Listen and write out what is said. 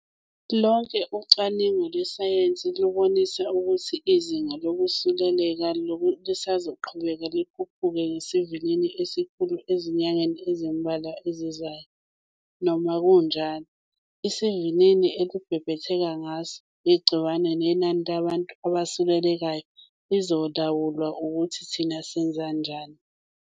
Lonke ucwaningo lwesayensi lubonisa ukuthi izinga lokusuleleka lisazoqhubeka likhuphuke ngesivinini esikhulu ezinyangeni ezimbalwa ezizayo. Noma kunjalo, isivinini elibhebhetheka ngaso igciwane nenani labantu abasulelekayo lizolawulwa ukuthi thina senzani manje.